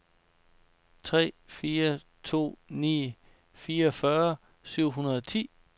tre fire to ni fireogfyrre syv hundrede og ti